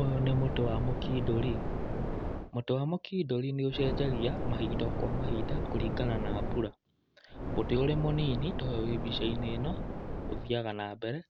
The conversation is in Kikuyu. Ũyũ nĩ mũtĩ wa mũkindũri. Mũtĩ wa mũkindũri nĩ ũcenjagia mahinda o kwa mahindũa kũringana na mbura. Mũtĩ ũrĩ mũnini ta ũyũ wĩ mbica-inĩ ino, ũthiyaga na mbere